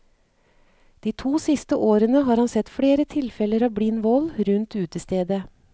De to siste årene har han sett flere tilfeller av blind vold rundt utestedet.